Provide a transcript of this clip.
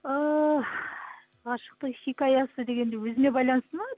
ііі ғашықтық хикаясы дегенде өзіме байланысты ма